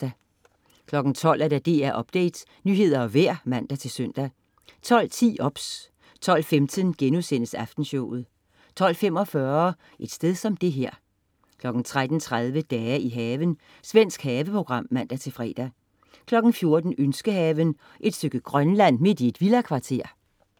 12.00 DR Update. Nyheder og vejr (man-søn) 12.10 OBS 12.15 Aftenshowet* 12.45 Et sted som det her 13.30 Dage i haven. Svensk haveprogram (man-fre) 14.00 Ønskehaven. Et stykke Grønland midt i et villakvarter?